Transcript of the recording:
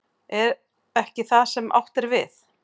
Er ekki það sem átt er við?